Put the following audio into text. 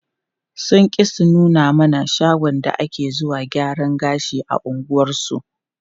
Sun ƙi su nuna mana shagon da take zuwa gyaran gashi a unguwarsu.